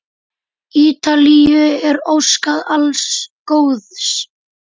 Ítalíu er óskað alls góðs.